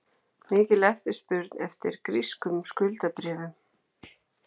Mikil eftirspurn eftir grískum skuldabréfum